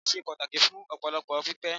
Irin ṣe pàtàkì fún ọpọlọ pípé